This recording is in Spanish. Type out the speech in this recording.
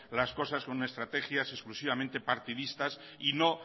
la cosas con estrategias exclusivamente partidistas y no